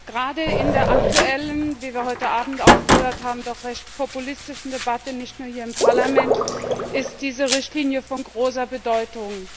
Gerade in der aktuellen wie wir heute Abend auch gehört haben doch recht populistischen Debatte nicht nur hier im Parlament ist diese Richtlinie von großer Bedeutung.